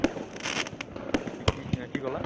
কি কি কি কলা?